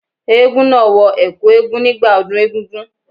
Eégún náà wọ ẹ̀kú nígbà ọdún egúngún.